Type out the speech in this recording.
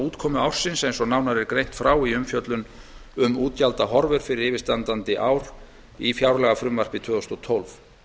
útgjaldaútkomu ársins eins og nánar er greint frá í umfjöllun um útgjaldahorfur fyrir yfirstandandi ár í fjárlagafrumvarpi tvö þúsund og tólf